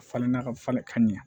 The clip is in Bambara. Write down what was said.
Falenna ka falen ka ɲɛ